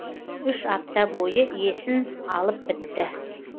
үш апта бойы есін алып бітті